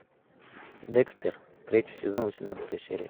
декстер третий сезон восемнадцатая серия